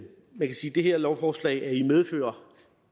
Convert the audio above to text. det her lovforslag er i medfør